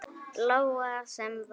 Lóa: Sem var?